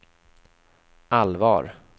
allvar